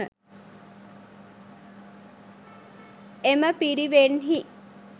එම පිරිවෙන්හි